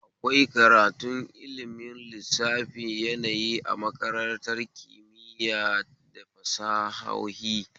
Akwai karatun ilmin lissafi yanayi a makarantar kimitaya da fasahohi